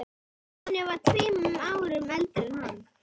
Nonni var tveimur árum eldri en hann.